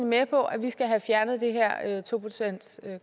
med på at vi skal have fjernet det her to procentskrav